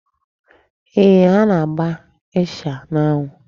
Ee, ha na-agba ịsha n'anwụ.